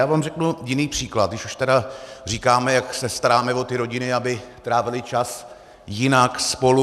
Já vám řeknu jiný příklad, když už teda říkáme, jak se staráme o ty rodiny, aby trávily čas jinak, spolu.